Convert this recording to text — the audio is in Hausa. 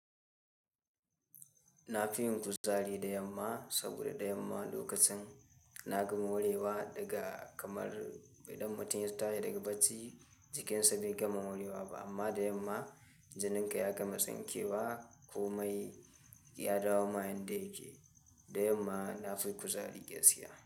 Na fi yin kuzari da yamma saboda da yamma lokacin na gama wurewa daga kamar idan mutum ya tashi daga bacci jikinsa bai gama wurewa ba amma da yamma janinka ya gama tsinke wa komai ya dawo ma yanda yake. Da yamma na fi kuzari gaskiya.